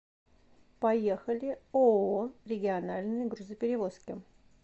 поехали ооо региональные грузоперевозки